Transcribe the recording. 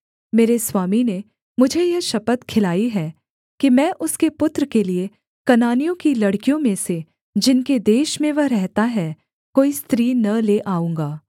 मेरे स्वामी ने मुझे यह शपथ खिलाई है कि मैं उसके पुत्र के लिये कनानियों की लड़कियों में से जिनके देश में वह रहता है कोई स्त्री न ले आऊँगा